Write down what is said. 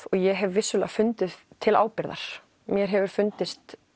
ég hef vissulega fundið til ábyrgðar mér hefur fundist